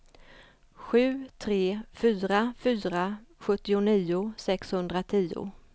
sju tre fyra fyra sjuttionio sexhundratio